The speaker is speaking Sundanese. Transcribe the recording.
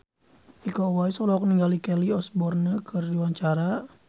Iko Uwais olohok ningali Kelly Osbourne keur diwawancara